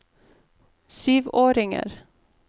syvåringer